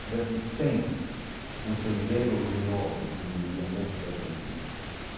O Brasil tem um sendeiro luminoso, como diria um músico argentino.